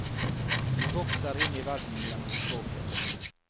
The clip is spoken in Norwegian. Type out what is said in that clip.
Vi vokser inn i verden gjennom språket.